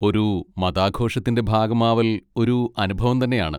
ഒരു മതാഘോഷത്തിൻ്റെ ഭാഗം ആവൽ ഒരു അനുഭവം തന്നെയാണ്.